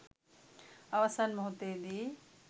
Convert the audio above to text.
අවසන් මොහොතේදී